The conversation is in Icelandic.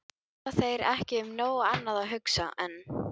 Hafa þeir ekki um nóg annað að hugsa en.